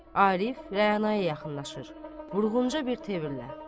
Arif Rəana-ya yaxınlaşır, vurğunca bir tərzlə.